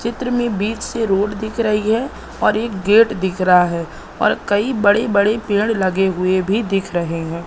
चित्र में बीच से रोड दिख रही है और एक गेट दिख रहा है और कई बड़े बड़े पेड़ लगे हुए भी दिख रहे हैं।